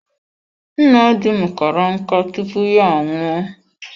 Nna dim kara nkà tupu ya anwụọ.